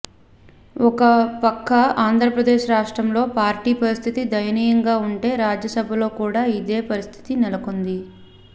ఒక పక్క ఆంధ్రప్రదేశ్ రాష్ట్రంలో పార్టీ పరిస్థితి దయనీయంగా ఉంటే రాజ్యసభలో కూడా ఇదే పరిస్థితి నెలకొంది